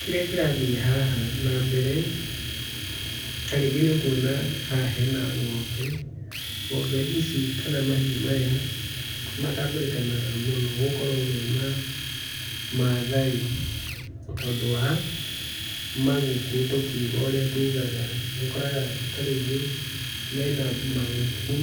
Kĩrĩa kĩrathiĩ haha na mbere, ta rĩngĩ nĩũkuona haha hena ng'ombe, ng'ombe ici kana mahiũ maya matambũrĩkanaga mũno gũkorwo me ma Maathai tondũ wa maguku tũkiuga ũrĩa tugaga. Nĩũkoraga ta rĩngĩ mena maguku,